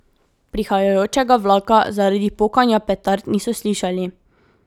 Prihajajočega vlaka zaradi pokanja petard niso slišali.